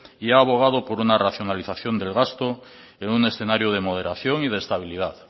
y he abogado por una racionalización del gasto en un escenario de moderación y de estabilidad